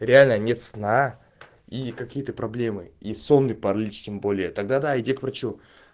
реально нет сна и какие-то проблемы и сонный паралич тем более тогда да иди к врачу